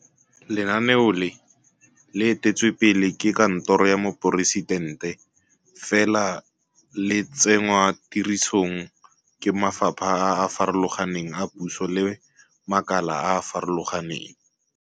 Lenaneo le, le eteletswe pele ke Kantoro ya Moporesitente, fela le tsenngwa tirisong ke mafapha a a farologaneng a puso le makala a a farologaneng.